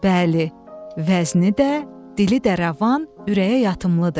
Bəli, vəzni də, dili də rəvan, ürəyə yatımlıdır.